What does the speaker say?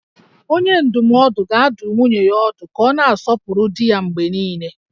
Onye ndụmọdụ ga-adụ nwunye ya ọdụ ka ọ na-asọpụrụ di ya mgbe niile